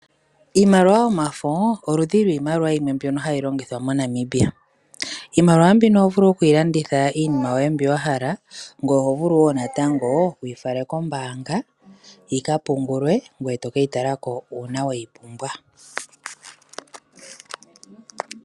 Iimaliwa yomafo oludhi lwiimaliwa yimwe mbyono hayi longithwa moNamibia. Iimaliwa mbino oho vulu okuyi landitha iinima yoye mbyoka wahala, ngoye oho vulu wo natango wu yi fale kombaanga yika pungulwe ngoye to keyi tala ko uuna weyi pumbwa.